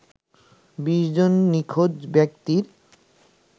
২০ জন নিখোঁজ ব্যক্তির